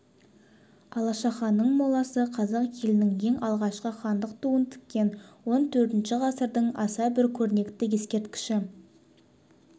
алашаханның моласы қазақ елінің ең алғашқы хандық туын тіккен он төртінші ғасырдың аса бір көрнекті ескерткіші